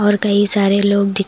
और कई सारे लोग दिख--